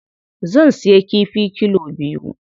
Zan siya kifi kilo biyu.